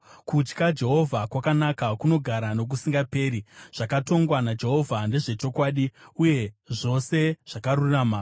Kutya Jehovha kwakanaka, kunogara nokusingaperi. Zvakatongwa naJehovha ndezvechokwadi uye zvose zvakarurama.